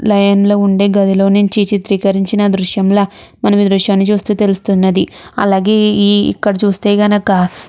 line లో ఉండే గదిలో నుంచి చిత్రీకరించిన దృశ్యం ల మనం ఈ దృశ్యాన్ని చూస్తే తెలుస్తున్నది అలాగే ఈ ఇక్కడ చూస్తే గనుక --